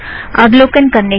अवलोकन करने के लिए धन्यवाद